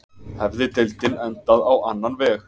Hefði deildin endað á annan veg?